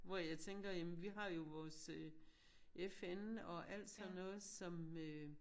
Hvor jeg tænker jamen vi har jo vores øh FN og alt sådan noget som øh